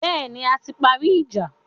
Bẹ́ẹ̀ni, a ti parí ìjà.